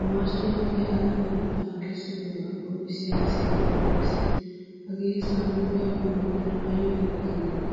omarsi yagiya alamiyaa yetta kessidoga qonccisiyaa misilee de'ees. Hagee samiga giyoge tana ayba iitees giideti!